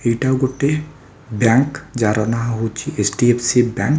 ଏଇଟା ଗୋଟେ ବ୍ୟାଙ୍କ ଯାହାର ନାଁ ହେଉଛି H D F C bank.